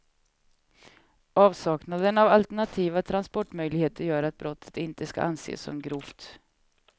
Avsaknaden av alternativa transportmöjligheter gör att brottet inte ska anses som grovt.